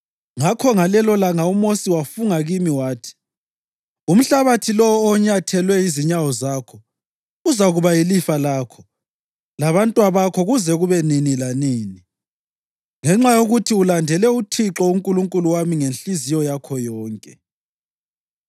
+ 14.9 UDutheronomi 1.36Ngakho ngalelolanga uMosi wafunga kimi wathi, ‘Umhlabathi lowo onyathelwe yizinyawo zakho uzakuba yilifa lakho labantwabakho kuze kube nini lanini, ngenxa yokuthi ulandele uThixo uNkulunkulu wami ngenhliziyo yakho yonke.’